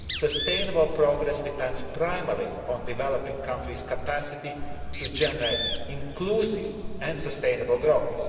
alone. Sustainable progress depends primarily on developing a country's capacity to generate inclusive and sustainable